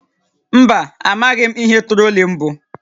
Mba, amaghị m ihe trolling bụ